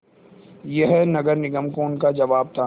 यह नगर निगम को उनका जवाब था